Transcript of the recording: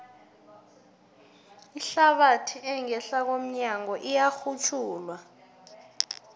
ihlabathi engehla komnyago iyarhutjhulwa